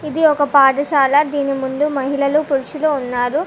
ఇది ఒక పాఠశాల దీని ముందు మహిళలు పురుషులు ఉన్నారు.